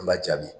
An b'a jaabi